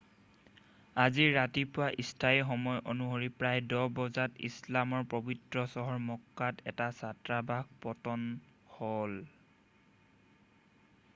আজি ৰাতিপুৱা স্থানীয় সময় অনুসৰি প্ৰায় 10 বজাত ইছলামৰ পৱিত্ৰ চহৰ মক্কাত এটা ছাত্ৰবাস পতন হ'ল